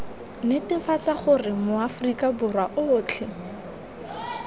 netefatsa gore maaforika borwa otlhe